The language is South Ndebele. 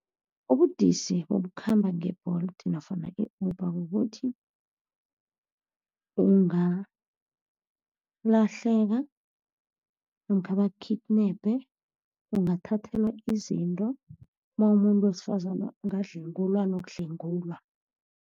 Ubudisi bokukhamba nge-Bolt nofana i-Uber kukuthi ungalahleka, namkha baku-kidnap, ungathathelwa izinto, nawumumuntu wesifazane ungadlwengulwa nokudlwengulwa.